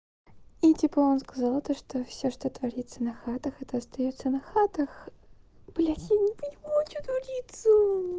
и типа он сказал то что всё что творится на хатах это остаётся на хатах блять я не понимаю что творится